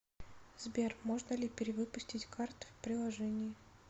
сбер можно ли перевыпустить карту в приложении